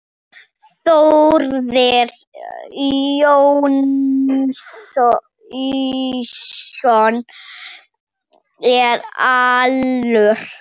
Þórir Jónsson er allur.